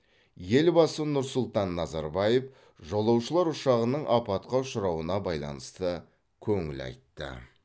елбасы нұр сұлтан назарбаев жолаушылар ұшағының апатқа ұшырауына байланысты көңіл айтты